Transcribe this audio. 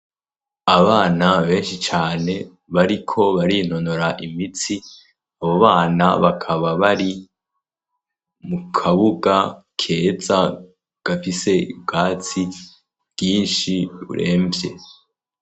Abana benshi cane bariko barinonora imitsi, abo bana bakaba bari mukabuga keza gafise ubwatsi bwinshi buremvye.